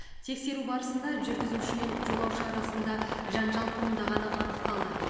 тексеру барысында жүргізуші мен жолаушы арасында жанжал туындағаны анықталды